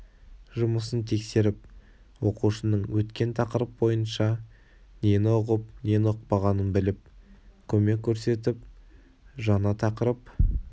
жұмысын тексеріп оқушының өткен тақырып бойынша нені ұғып нені ұқпағанын біліп көмек көрсетіп жаңа тақырып